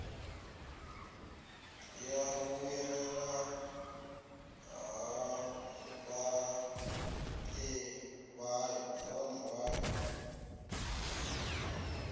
ya vhuyelela ha vhaṋe vhayo